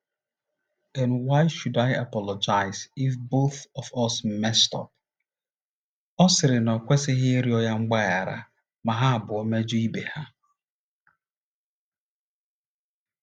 n, why should I apologize if both of us messed up? ” Ọ sịrị na ya ekwesịghị ịrịọ ya mgbaghara ma ha abụọ mejọọ ibe ha.